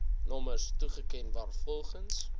nommers toeken waarvolgens